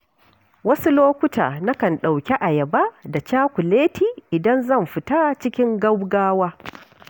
Wasu lokuta, nakan ɗauki ayaba da cakuleti idan zan fita cikin gaugawa.